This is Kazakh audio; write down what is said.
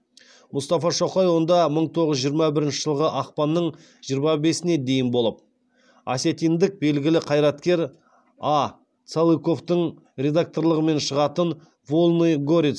мұстафа шоқай онда мың тоғыз жүз жиырма бірінші жылғы ақпанның жиырма бесіне дейін болып осетиндік белгілі қайраткер а цалыковтың редакторлығымен шығатын вольный горец